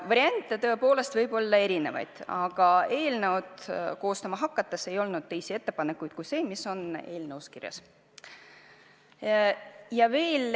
Variante tõepoolest võib olla erinevaid, aga eelnõu koostama hakates teisi ettepanekuid ei olnud, oli vaid see, mis on eelnõus kirjas.